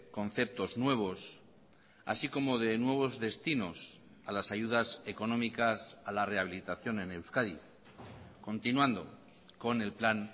conceptos nuevos así como de nuevos destinos a las ayudas económicas a la rehabilitación en euskadi continuando con el plan